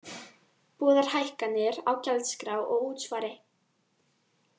Boðar hækkanir á gjaldskrá og útsvari